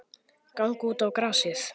Ganga út á grasið.